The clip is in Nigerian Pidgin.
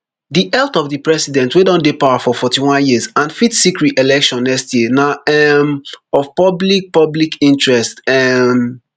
di health of di president wey don dey power for forty-one years and fit seek reelection next year na um of public public interest um